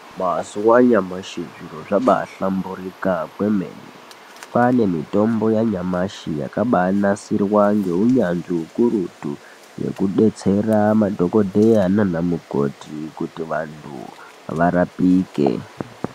Mazuva anyamashi zviro zvabahlamburuka kwemene kwane mitombo yanyamashi yakabanhasirwa ngeunyanzvi ukurutu yekudetsera madhokodheya nana mukoti kuti vantu varapike.